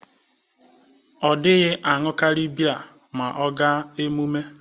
Ọ dịghị aṅụkarị bie ma ọ ga emụme.